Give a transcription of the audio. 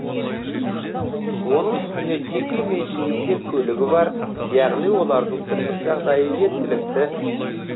оның үстіне жеке меншігінде көлігі бар яғни олардың тұрмыс жағдайы жеткілікті